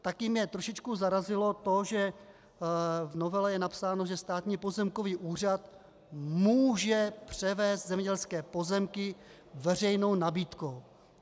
Také mě trošičku zarazilo to, že v novele je napsáno, že Státní pozemkový úřad může převést zemědělské pozemky veřejnou nabídkou.